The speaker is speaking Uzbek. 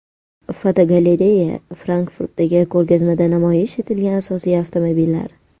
Fotogalereya: Frankfurtdagi ko‘rgazmada namoyish etilgan asosiy avtomobillar.